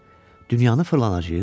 Dünyanı fırlanacağıq?